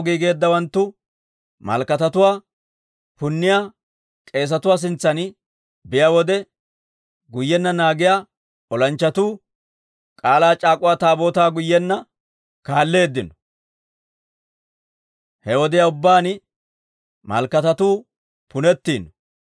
Olaw giigeeddawanttu malakatatuwaa punniyaa k'eesatuwaa sintsan biyaa wode, guyyenna naagiyaa olanchchatuu K'aalaa c'aak'uwa Taabootaa guyyenna kaalleeddino. He wodiyaa ubbaan malakatatuu punettiino.